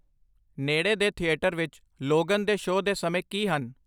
ਨੇੜੇ ਦੇ ਥੀਏਟਰ ਵਿੱਚ ਲੋਗਨ ਦੇ ਸ਼ੋਅ ਦੇ ਸਮੇਂ ਕੀ ਹਨ